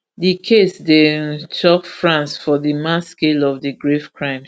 di case dey um shock france for di mass scale of di grave crimes